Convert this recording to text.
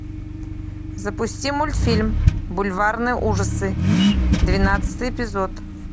запусти мультфильм бульварные ужасы двенадцатый эпизод